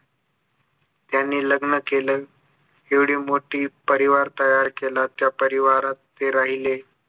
त्यांनी लग्न केलं एवढी मोठी परिवार तयार केलं त्या परिवारात ते राहिले